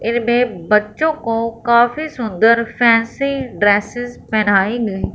इनमें बच्चों को काफी सुंदर फैंसी ड्रेसेस पहनाई गई--